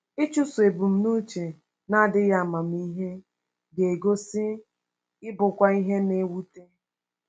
Ịchụso ebumnuche na-adịghị amamihe ga-egosi ịbụkwa ihe na-ewute.